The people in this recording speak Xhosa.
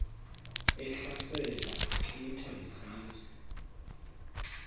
ehlasela echitha izizwe